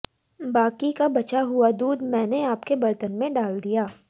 बाकी का बचा हुआ दूध मैंने आपके बर्तन में डाल दिया